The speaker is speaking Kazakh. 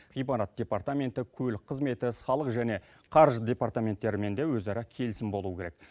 ғимарат департаменттері көлік қызметі салық және қаржы департаменттерімен де өзара келісім болуы керек